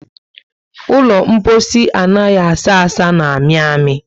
Ụlọ mposi anaghị asa asa na amị amị